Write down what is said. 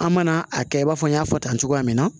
An mana a kɛ i b'a fɔ n y'a fɔ tan cogoya min na